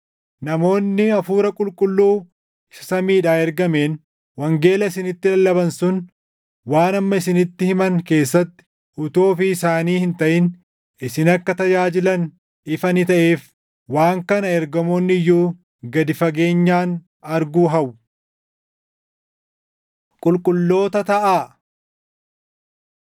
Namoonni Hafuura Qulqulluu isa samiidhaa ergameen wangeela isinitti lallaban sun waan amma isinitti himan keessatti utuu ofii isaanii hin taʼin isin akka tajaajilan ifa ni taʼeef; waan kana ergamoonni iyyuu gad fageenyaan arguu hawwu. Qulqulloota Taʼaa